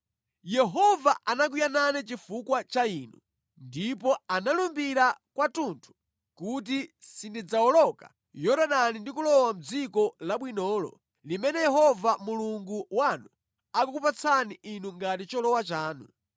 Yehova anakwiya nane chifukwa cha inu, ndipo analumbira kwathunthu kuti sindidzawoloka Yorodani ndi kulowa mʼdziko labwinolo limene Yehova Mulungu wanu akukupatsani inu ngati cholowa chanu.